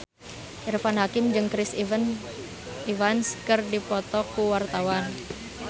Irfan Hakim jeung Chris Evans keur dipoto ku wartawan